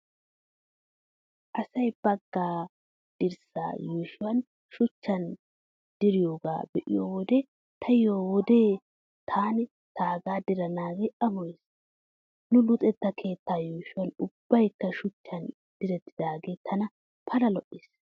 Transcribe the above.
Asay baagaa dirssaa yuushuwaa shuchchan diroogaa be'iyo wode taayyo wode taani taagaa diranaagee amoyees. Nu luxetta keettan yuushshoy ubbaykka shuchchan direttidaagee tana Pala lo'ees.